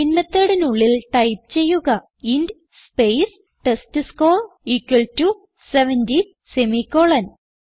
main methodനുള്ളിൽ type ചെയ്യുക int space test score equal to 70 semicolon